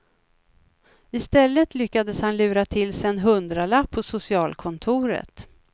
I stället lyckades han lura till sig en hundralapp på socialkontoret.